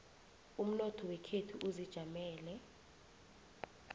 umnotho wekhethu uzijamele